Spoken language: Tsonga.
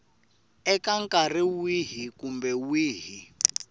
eka nkarhi wihi kumbe wihi